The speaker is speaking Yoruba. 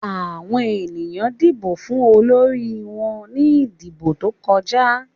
Àwọn ènìyàn dìbò fún olórí wọn ní ìdìbò tó kọjá.